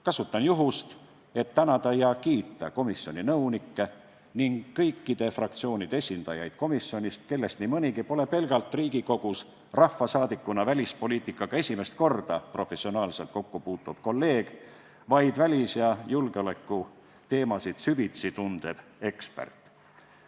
Kasutan juhust, et tänada ja kiita komisjoni nõunikke ning kõikide fraktsioonide esindajaid, kes meil komisjonis on ning kellest nii mõnigi pole pelgalt Riigikogus rahvasaadikuna välispoliitikaga esimest korda professionaalselt kokku puutuv kolleeg, vaid välis- ja julgeolekuteemasid süvitsi tundev ekspert.